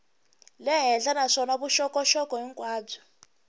le henhla naswona vuxokoxoko hinkwabyo